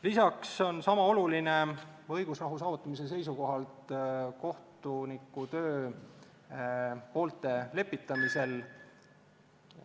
Lisaks on õigusrahu saavutamise seisukohalt sama oluline kohtuniku töö poolte lepitamisel.